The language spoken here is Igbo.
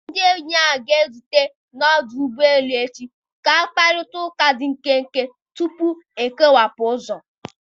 Ndị enyi ahụ ga-ezute n'ọdụ ụgbọ elu echi ka ha kparịta ụka dị nkenke tupu ha ekewapụ ụzọ.